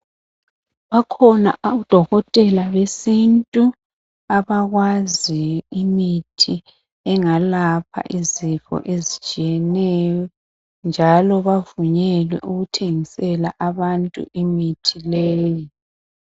Bakhona odokotela besintu abakwazi imithi engalapha izifo ezitshiyeneyo njalo bavunyelwe bavunyelwe ukuthengisela abantu imithi leyo